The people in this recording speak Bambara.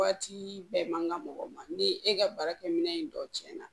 Waati bɛɛ man ka mɔgɔw ma ni e ka baarakɛminɛ in dɔ tiɲɛna